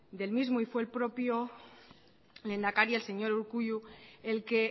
del mismo y fue el propio lehendakari el señor urkullu el que